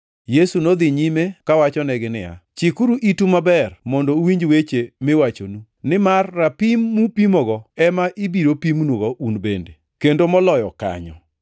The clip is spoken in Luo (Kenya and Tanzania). Yesu nodhi nyime kawachonegi niya, “Chikuru itu maber mondo uwinj weche miwachonu, nimar rapim mupimogo ema ibiro pimnugo un bende, kendo moloyo kanyo.